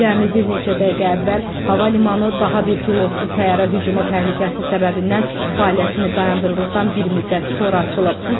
Cəmi bir neçə dəqiqə əvvəl hava limanı daha bir pilotsuz təyyarə hücumu təhlükəsi səbəbindən fəaliyyətini dayandırdıqdan bir müddət sonra açılıb.